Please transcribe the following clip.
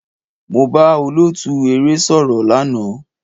Mo bá olóòtú eré sọ̀rọ̀ lánàá.